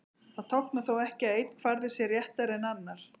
Það táknar þó ekki að einn kvarði sé réttari en annar.